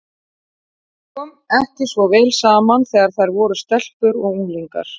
Þeim kom ekki svo vel saman þegar þær voru stelpur og unglingar.